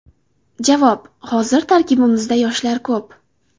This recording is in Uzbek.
Javob: Hozir tarkibimizda yoshlar ko‘p.